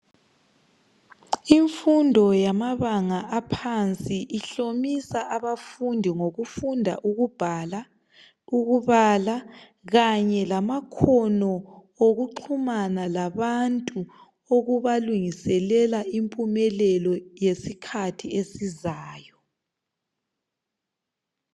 Imfundo yamabanga aphansi ihlomisa abafundi ngokufunda ukubhala ukubala Kanye lamakhono okuxhumana labantu okubalungiselela impumelelo yesikhathi esizayo.